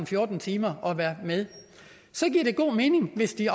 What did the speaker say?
fjorten timer og være med så giver det god mening hvis de